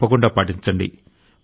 తప్పకుండా పాటించండి